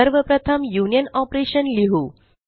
सर्व प्रथम union operation लिहु